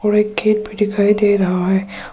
White gate भी दिखाई दे रहा है।